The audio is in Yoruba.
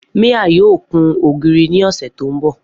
Mia yoo kun ogiri ni ọsẹ to nbọ.